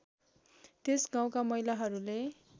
त्यस गाउँका महिलाहरूले